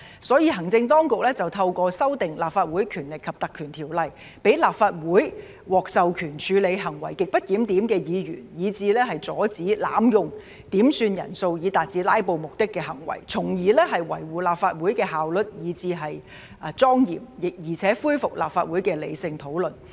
所以，行政當局透過修訂《立法會條例》，讓立法會獲授權處理行為極不檢點的議員，以至阻止濫用點算人數以達致"拉布"目的的行為，從而維護立法會的效率以至莊嚴，並且恢復立法會的理性討論。